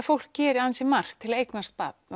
fólk gerir ansi margt til að eignast barn